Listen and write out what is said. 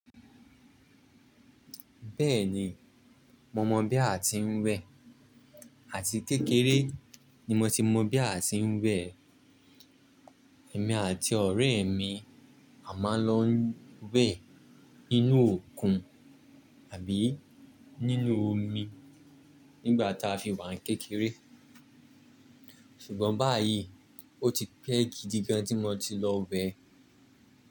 Bẹ́ẹ̀ni, mo mọ bí a ti ń wẹ̀ àti kékeré ni mo ti mọ bí a ti ń wẹ̀. Ẹ̀mí àti ọ̀rẹ́ mí a máa ń lọ wẹ̀ nínú òkun àbí nínú omi nígbà táa fi wà ní kékeré. Ṣùgbọ́n báyìí, ó ti pẹ́ gidi gan tí mo ti lọ wẹ̀.